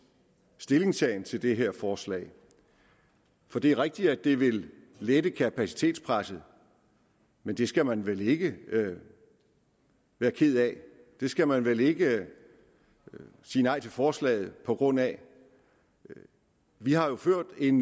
stillingtagen til det her forslag for det er rigtigt at det vil lette kapacitetspresset men det skal man vel ikke være ked af det skal man vel ikke sige nej til forslaget på grund af vi har ført en